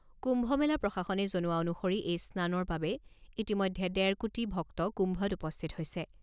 কুম্ভ মেলা প্ৰশাসনে জনোৱা অনুসৰি এই স্নানৰ বাবে ইতিমধ্যে ডেৰ কোটি ভক্ত কুম্ভত উপস্থিত হৈছে।